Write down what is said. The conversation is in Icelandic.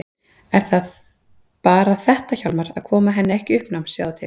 En það er bara þetta Hjálmar: Að koma henni ekki í uppnám, sjáðu til.